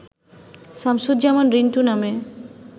শামসুজ্জামান রিন্টু নামে